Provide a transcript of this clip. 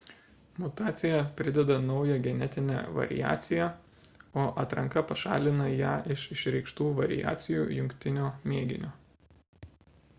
mutacija prideda naują genetinę variaciją o atranka pašalina ją iš išreikštų variacijų jungtinio mėginio